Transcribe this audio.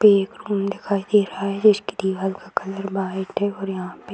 पे एक रूम दिखाई दे रहा है जिसकी दीवाल का कलर वाइट है और यहाँ पे --